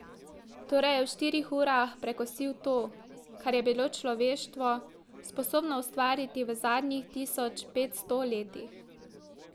Torej je v štirih urah prekosil to, kar je bilo človeštvo sposobno ustvariti v zadnjih tisoč petsto letih.